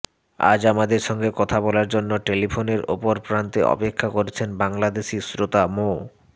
আজ আমাদের সঙ্গে কথা বলার জন্য টেলিফোনের অপর প্রান্তে অপেক্ষা করছেন বাংলাদেশি শ্রোতা মো